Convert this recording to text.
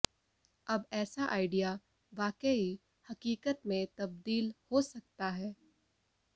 अब ऐसा आइडिया वाकई हकीकत में तब्दील हो सकता है